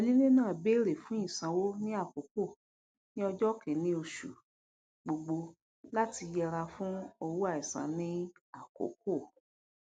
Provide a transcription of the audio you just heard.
onílé náà béèrè fún ìsanwó ní àkókò ní ọjọ kìíní oṣù gbogbo láti yẹra fún owó àìsàn ní àkókò